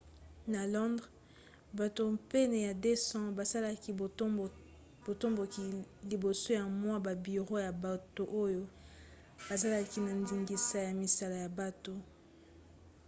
na londres bato pene ya 200 basalaki botomboki liboso ya mwa babiro ya bato oyo bazalaki na ndingisa ya misala ya bato